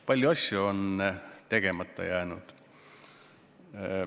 Palju asju on tegemata jäänud.